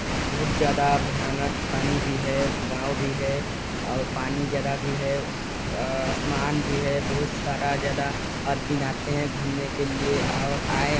बहुत ज्यादा भयानक पानी भी है गाव भी है और पानी जगह भी है अ अ आसमान भी है बहुत सारा ज्यादा आदमी भी आते है घूमने के लिए आओ आए--